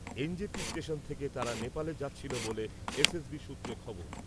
NJP station থেকে তারা নেপালে যাচ্ছিল বলে এসএসবি সূত্রে খবর।